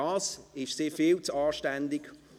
Dazu ist sie viel zu anständig.